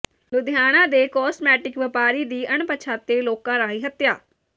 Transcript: ਲੁਧਿਆਣਾ ਦੇ ਕੌਸਮੈਟਿਕ ਵਪਾਰੀ ਦੀ ਅਣਪਛਾਤੇ ਲੋਕਾਂ ਰਾਹੀਂ ਹੱਤਿਆ